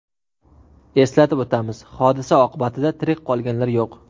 Eslatib o‘tamiz, hodisa oqibatida tirik qolganlar yo‘q.